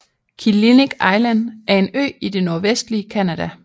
Killiniq Island er en ø i det nordvestlige Canada